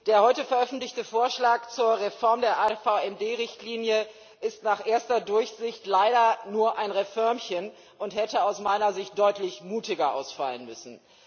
Der heute veröffentlichte Vorschlag zur AVMD Richtlinie ist nach erster Durchsicht leider nur ein Reförmchen und hätte aus meiner Sicht deutlich mutiger ausfallen müssen.